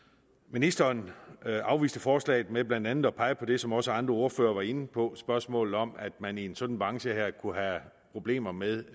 ministeren afviste forslaget ved blandt andet at pege på det som også andre ordførere var inde på spørgsmålet om at man i en sådan branche her kunne have problemer med